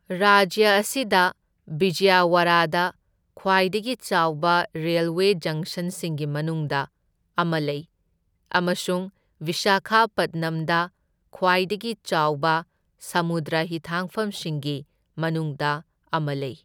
ꯔꯥꯖ꯭ꯌ ꯑꯁꯤꯗ ꯕꯤꯖꯌꯋꯥꯔꯥꯗ ꯈ꯭ꯋꯥꯏꯗꯒꯤ ꯆꯥꯎꯕ ꯔꯦꯜꯋꯦ ꯖꯪꯁꯟꯁꯤꯡꯒꯤ ꯃꯅꯨꯡꯗ ꯑꯃ ꯂꯩ ꯑꯃꯁꯨꯡ ꯕꯤꯁꯥꯈꯥꯄꯠꯅꯝꯗ ꯈ꯭ꯋꯥꯏꯗꯒꯤ ꯆꯥꯎꯕ ꯁꯃꯨꯗ꯭ꯔ ꯍꯤꯊꯥꯡꯐꯝꯁꯤꯡꯒꯤ ꯃꯅꯨꯡꯗ ꯑꯃ ꯂꯩ꯫